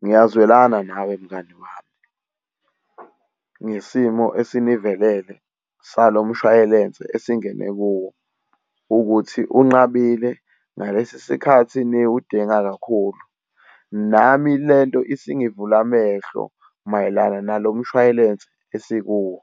Ngiyazwelana nawe mngani wami, ngesimo esinivelele salo mshwayelense esingene kuwo, ukuthi unqabile ngalesi sikhathi niwudinga kakhulu. Nami lento isingivula amehlo mayelana nalo mshwayelense esikuwo.